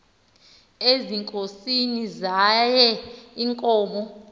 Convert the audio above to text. ezinkosini zaye iinkosi